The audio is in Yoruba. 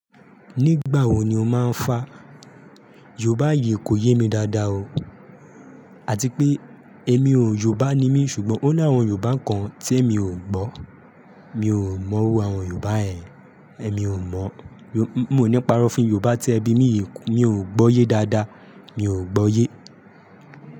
Nígbà wo ni o máa ń fá? Yorùbá yìí kò yé mi dáadáa o. Àti pé èmi ò Yorùbá ni mí ṣùgbọ́n ó ní àwọn Yorùbá kan tí èmi ò gbọ́. Mi ò mọ irú àwọn Yorùbá yẹn. Ẹ̀mí ò mọ̀ọ́. Mo ò ní parọ́ fún yín Yorùbá tí ẹ bimí yí, mi ò gbọ yé dáadáa. Mi ò gbọ́yé.